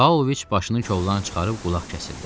Paoviç başını kollardan çıxarıb qulaq kəsildi.